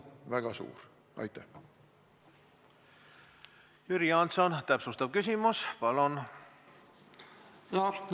Jüri Jaanson, täpsustav küsimus, palun!